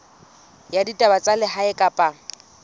ya ditaba tsa lehae kapa